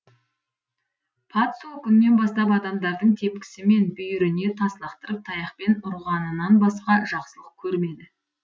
пат сол күннен бастап адамдардың тепкісі мен бүйіріне тас лақтырып таяқпен ұрғанынан басқа жақсылық көрмеді